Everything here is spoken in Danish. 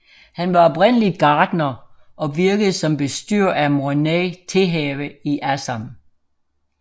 Han var oprindeligt gartner og virkede som bestyrer af Mornai Tehave i Assam